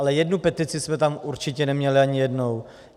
Ale jednu petici jsme tam určitě neměli ani jednou.